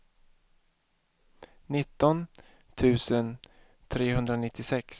nitton tusen trehundranittiosex